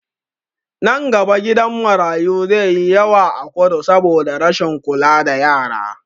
Nan gaba gidan marayu zai yi yawa a kudu saboda rashin kula da yara